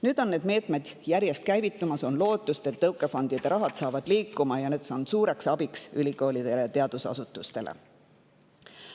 Nüüd on need meetmed järjest käivitumas, on lootust, et tõukefondide raha saab liikuma ja on suureks abiks ülikoolidele ja teadusasutustele.